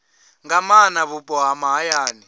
nga maana vhupo ha mahayani